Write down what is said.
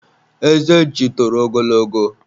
eze nchi toro ogologo